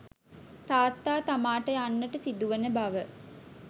තාත්තා තමාට යන්නට සිදුවන බව